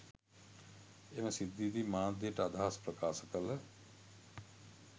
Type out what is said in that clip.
එම සිද්ධියේදී මාධ්‍යයට අදහස් ප්‍රකාශ කළ